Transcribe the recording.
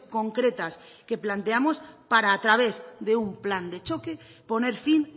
concretas que planteamos para a través de un plan de choque poner fin